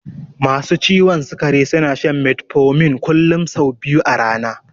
Masu ciwon sikari suna shan metformin kullun sau biyu a rana